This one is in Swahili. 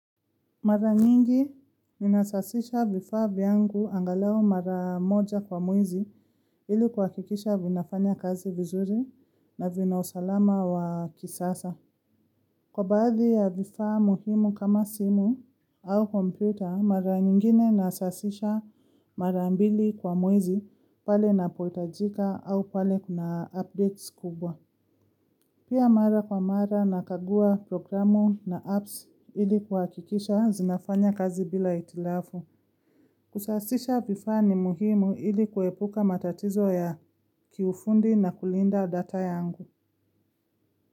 Mara nyingi ninasafisha vifaa vyangu angalau mara moja kwa mwezi ili kuhakikisha vinafanya kazi vizuri na vinausalama wa kisasa. Kwa baadhi ya vifaa muhimu kama simu au kompyuta mara nyingine nasafisha mara ambili kwa mwezi pale inapohitajika au pale kuna updates kubwa. Pia mara kwa mara nakagua programu na apps ili kuhakikisha zinafanya kazi bila hitilafu. Kusafisha vifaa ni muhimu ili kuepuka matatizo ya kiufundi na kulinda data yangu.